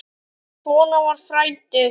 Svona var frændi.